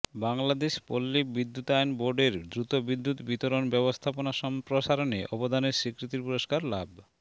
বাংলাদেশ পল্লী বিদ্যুতায়ন বোর্ড এর দ্রুত বিদ্যুৎ বিতরণ ব্যবস্থা সম্প্রসারণে অবদানের স্বীকৃতির পুরস্কার লাভ